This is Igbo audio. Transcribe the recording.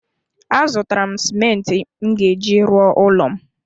A zụtara m simenti m ga-eji rụọ ụlọ m